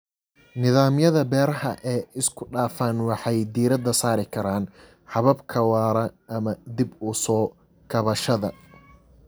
Nidaamyada beeraha ee isku dhafan waxay diiradda saari karaan hababka waara ama dib u soo kabashada.